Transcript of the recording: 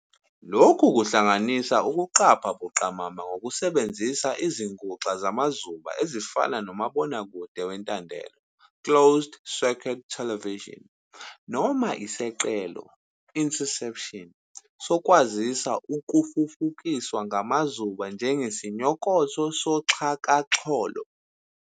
Lokhu kuhlanganisa ukuqapha buqamama ngokusebenzisa izinguxa zamazuba ezifana umabonakude wentandelo, "closed-circuit television, CCTV," noma iseqelo, "interception", sokwaziswa okufufukiswa ngamazuba njengesinyokotho soxhakaxholo.